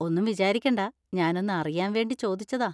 ഒന്നും വിചാരിക്കണ്ട, ഞാൻ ഒന്ന് അറിയാൻ വേണ്ടി ചോദിച്ചതാ.